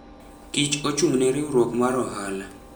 Kich ochung'ne riwruok mar ohala.